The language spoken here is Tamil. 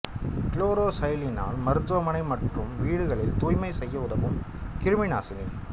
கிலோரோசைலினால் மருத்துவமனை மற்றும் வீடுகளில் தூய்மை செய்ய உதவும் கிருமிநாசினி